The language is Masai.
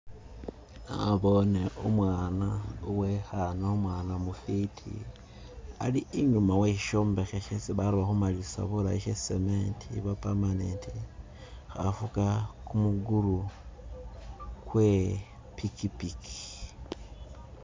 Naboone u'mwana uwe'ekhaana u'mwaana mufiti ali inyuma wesyisyombekhe hesi baloba khumalilisa bulayi sya cement oba permanent, khafuga kumugulu kwe i'pikipiki.